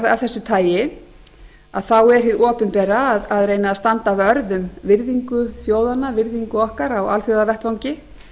af þessu tagi er hið opinbera að reyna að standa vörð um virðingu þjóðanna virðingu okkar á alþjóðavettvangi